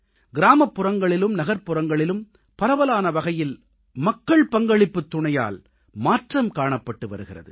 கிராமப்புறங்களிலும் நகர்ப்புறங்களிலும் பரவலான வகையில் மக்கள்பங்களிப்புத் துணையால் மாற்றம் காணப்பட்டு வருகிறது